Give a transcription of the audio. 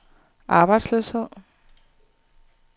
arbejdsløshed